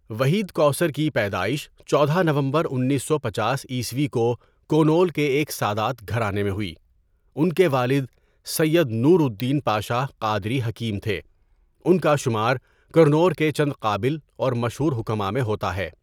وحید کوثر کی پیدائش چودہ ؍ نومبرانیس سو پنچاس عیسوی کو کونول کے ایک سادات گھرانے میں ہوئی ان کے والد سید نور الدین پاشاہ قادری حکیم تھے ان کا شمار کرنور کے چند قابل اور مشہور حکماء میں ہوتا ہے.